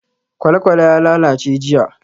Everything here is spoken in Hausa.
Kwalekwale ya lalace jiya.